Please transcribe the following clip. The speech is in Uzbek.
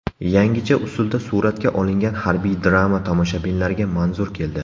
Yangicha usulda suratga olingan harbiy drama tomoshabinlarga manzur keldi.